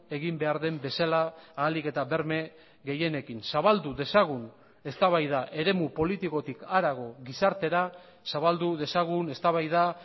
egin behar den bezala ahalik eta berme gehienekin zabaldu dezagun eztabaida eremu politikotik harago gizartera zabaldu dezagun eztabaida